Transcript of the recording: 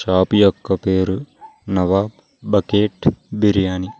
Shop యొక్క పేరు Nawab bucket biryani .